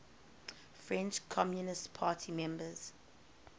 french communist party members